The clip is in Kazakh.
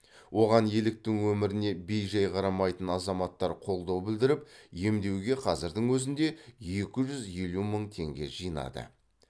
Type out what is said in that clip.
оған еліктің өміріне бей жай қарамайтын азаматтар қолдау білдіріп емдеуге қазірдің өзінде екі жүз елу мың теңге жинады